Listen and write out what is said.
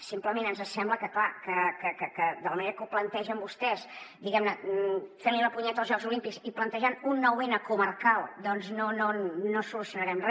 simplement ens sembla que clar de la manera que ho plantegen vostès fent los la punyeta als jocs olímpics i plantejant un nou n comarcal no solucio narem re